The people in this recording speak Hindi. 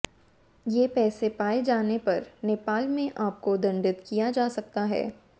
ये पैसे पाए जाने पर नेपाल में आपको दंडित किया जा सकता है